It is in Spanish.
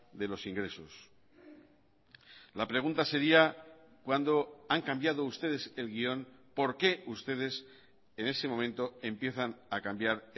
de los ingresos la pregunta sería cuándo han cambiado ustedes el guión por qué ustedes en ese momento empiezan a cambiar